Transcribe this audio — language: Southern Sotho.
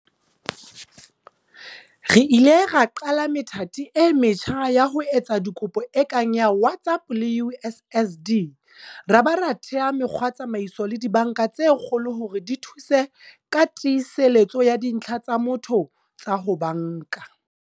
Re ile ra qala methati e metjha ya ho etsa dikopo e kang ya WhatsApp le USSD, ra ba ra thea mekgwatsamaiso le dibanka tse kgolo hore di thuse ka tiiseletso ya dintlha tsa motho tsa ho banka.